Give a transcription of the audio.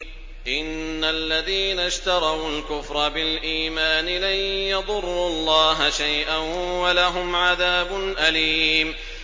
إِنَّ الَّذِينَ اشْتَرَوُا الْكُفْرَ بِالْإِيمَانِ لَن يَضُرُّوا اللَّهَ شَيْئًا وَلَهُمْ عَذَابٌ أَلِيمٌ